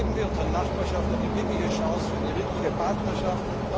Geben wir unserer Nachbarschaft eine wirkliche Chance für eine wirkliche Partnerschaft!